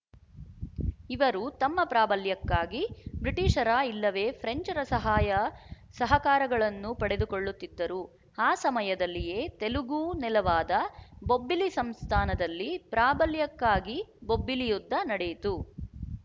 ಇವರು ತಮ್ಮ ಪ್ರಾಬಲ್ಯಕ್ಕಾಗಿ ಬ್ರಿಟಿಶರ ಇಲ್ಲವೇ ಫ್ರೆಂಚರ ಸಹಾಯ ಸಹಕಾರಗಳನ್ನು ಪಡೆದುಕೊಳ್ಳುತ್ತಿದ್ದರು ಆ ಸಮಯದಲ್ಲಿಯೇ ತೆಲುಗು ನೆಲವಾದ ಬೊಬ್ಬಿಲಿ ಸಂಸ್ಥಾನದಲ್ಲಿ ಪ್ರಾಬಲ್ಯಕ್ಕಾಗಿ ಬೊಬ್ಬಿಲಿಯುದ್ಧ ನಡೆಯಿತು